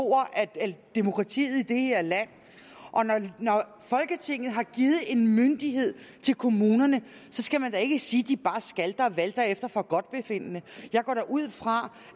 af demokratiet i det her land og når folketinget har givet en myndighed til kommunerne så skal man da ikke sige at de bare skalter og valter efter forgodtbefindende jeg går da ud fra